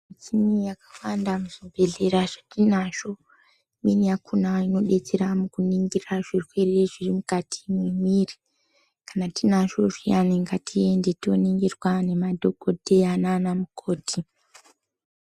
Michini yakawanda muzvibhedhlera zvatinazvo imweni yakona inodetsera kuningira zvirwere zviri mukati memwiri kana tinazvo zviyani ngatiende toningirwa nemadhokodheya Nana mukoti.